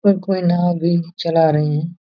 पर कोई न अभी चला रहे हैं।